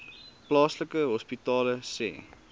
plaaslike hospitale sê